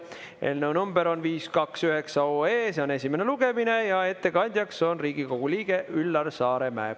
Eelnõu number on 529 OE, see on esimene lugemine ja ettekandja on Riigikogu liige Üllar Saaremäe.